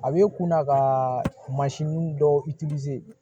A bɛ kunna ka mansin dɔw